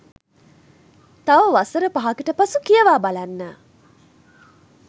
තව වසර පහකට පසු කියවා බලන්න.